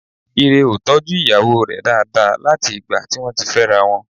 Ire ò tọ́jú ìyàwó rẹ̀ dáadáa láti ìgbà tí wọ́n ti fẹ́ra wọn